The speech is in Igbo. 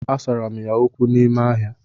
Asara m ya okwu n'ime ahịa